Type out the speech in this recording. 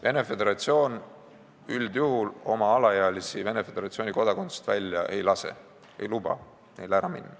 Venemaa Föderatsioon üldjuhul alaealisi isikuid Venemaa Föderatsiooni kodakondsusest välja ei lase, ei luba neil ära minna.